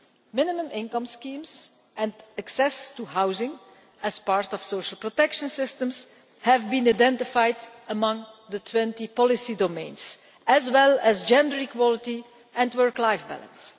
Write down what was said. Minimum income schemes and access to housing, as part of the social protection system, have been included among the twenty policy domains, as have gender equality and work life balance.